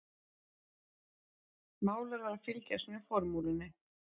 Málarar fylgjast með formúlunni